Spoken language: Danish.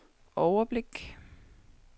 overblik